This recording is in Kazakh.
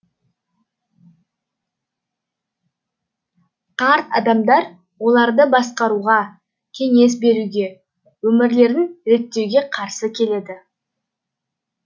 қарт адамдар оларды басқаруға кеңес беруге өмірлерін реттеуге қарсы келеді